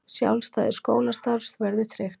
Sjálfstæði skólastarfs verði tryggt